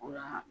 O la